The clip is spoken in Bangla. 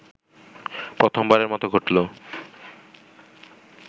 প্রথমবারের মতো ঘটলো